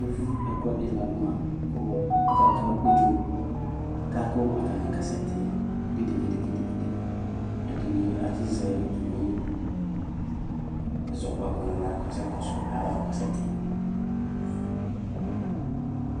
Evʋ ɛkʋɛdi ladʋma ɔkaka ʋdzo akakʋ akasɛti gidgidgidgidi ɛdini atsizɛ atami ɛzɔkpako nʋ aɣla kʋ asɛ kɔsʋ ayava kʋ ɔkasɛti